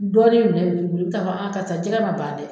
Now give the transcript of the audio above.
Dɔɔnin minɛ ka fɔ karisa jɛgɛ ma ban dɛ